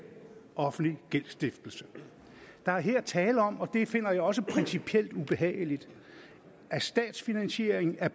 offentlig gældsstiftelse der er her tale om og det finder jeg også principielt ubehageligt statsfinansiering af